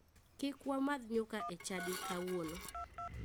Kik wamadh nyuka e chadi kawuono